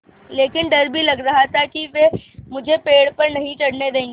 लेकिन डर भी लग रहा था कि वे मुझे पेड़ पर नहीं चढ़ने देंगे